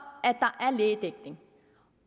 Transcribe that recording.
at der er lægedækning